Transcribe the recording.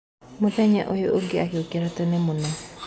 Mũthenya ũyũ ũngĩ agĩũkĩra tene mũno.